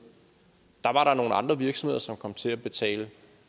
var nogle andre virksomheder som kom til at betale